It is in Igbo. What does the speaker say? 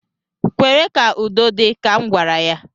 Kwere ka udo dị, ka m gwara ya